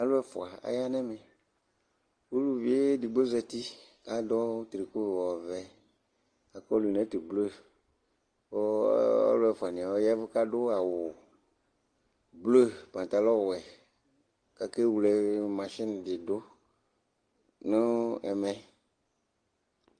alò ɛfua aya n'ɛmɛ uluvi edigbo zati k'adu triko ɔvɛ k'akpolu n'ɛto blu kò ɔlò ɛfua ni yɛ ɔya vu k'adu awu blu pantalɔ wɛ k'ake wle mashin di do no ɛmɛ